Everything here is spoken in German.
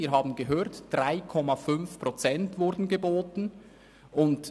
Wir haben gehört, dass 3,5 Prozent geboten wurden.